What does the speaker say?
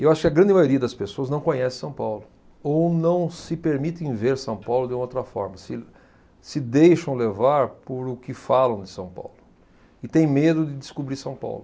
E eu acho que a grande maioria das pessoas não conhece São Paulo ou não se permitem ver São Paulo de uma outra forma, se, se deixam levar por o que falam de São Paulo e têm medo de descobrir São Paulo.